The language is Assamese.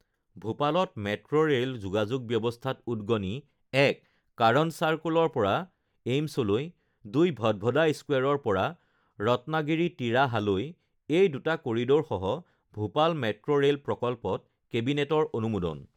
ভূপালত মেট্ৰ ৰেল যোগাযোগ ব্যৱস্থাত উদ্গনি ১ কাৰণ্ড চাৰ্কোলৰ পৰা এইমছলৈ ২ ভদভদা স্কোৱেৰৰ পৰা ৰত্মাগিৰি তিৰাহালৈ এই দুটা কৰি়ডৰসহ ভূপাল মেট্ৰ ৰেল প্ৰকল্পত কেবিনেটৰ অনুমোদন